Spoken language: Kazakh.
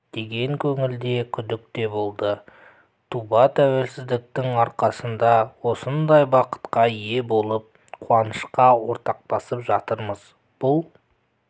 деген көңілде күдік те болды туба туелсіздіктің арқасында осындай бақытқа ие болып қуанышқа ортақтасып жатырмыз бұл